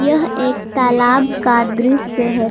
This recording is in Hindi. यह एक तालाब का दृश्य है।